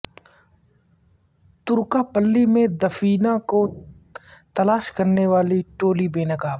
ترکا پلی میں دفینہ کو تلاش کرنے والی ٹولی بے نقاب